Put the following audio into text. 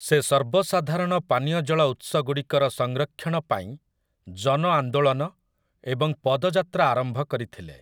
ସେ ସର୍ବସାଧାରଣ ପାନୀୟ ଜଳ ଉତ୍ସଗୁଡ଼ିକର ସଂରକ୍ଷଣ ପାଇଁ ଜନ ଆନ୍ଦୋଳନ ଏବଂ ପଦଯାତ୍ରା ଆରମ୍ଭ କରିଥିଲେ ।